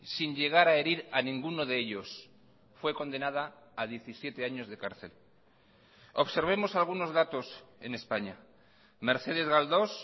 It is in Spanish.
sin llegar a herir a ninguno de ellos fue condenada a diecisiete años de cárcel observemos algunos datos en españa mercedes galdós